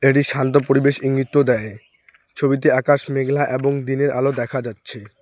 এটি শান্ত পরিবেশ ইঙ্গিত তো দেয় ছবিতে আকাশ মেঘলা এবং দিনের আলো দেখা যাচ্ছে।